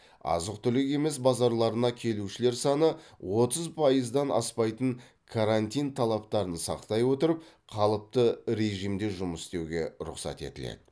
азық түлік емес базарларына келушілер саны отыз пайыздан аспайтын карантин талаптарын сақтай отырып қалыпты режимде жұмыс істеуге рұқсат етіледі